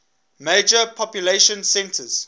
major population centers